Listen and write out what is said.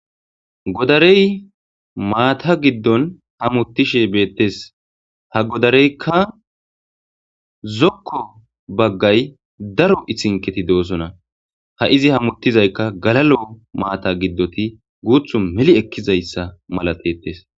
Godarey maata giddon hamuttishe beettes ha godareykka zokko baggay daro ihinketi do'osona ha izi hamuttizaykka galalo maata giddoti guuthu meli ekkizayssa malatettes.